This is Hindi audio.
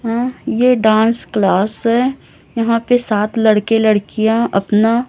हां ये डांस क्लास है यहां पे सात लड़के लड़कियां अपना--